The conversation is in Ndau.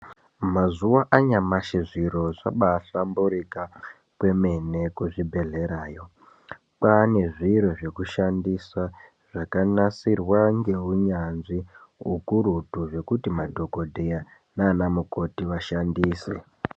Mazuva anyamashi zviro zvabaa hlamburika kwemene nekuzvibhedhlera yoo, kwaane zviro zvekushandisa zvakanasirwa ngeunyanzvi ukurutu zvokuti madhokodheya naana mukhoti vashandise.